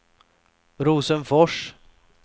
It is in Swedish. Rosenfors